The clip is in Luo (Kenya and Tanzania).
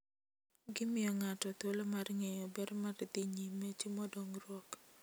Gimiyo ng'ato thuolo mar ng'eyo ber mar dhi nyime timo dongruok.